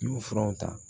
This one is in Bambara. N y'u furaw ta